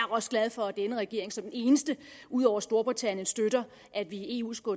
også glad for at denne regering som den eneste ud over storbritanniens støtter at vi i eu skal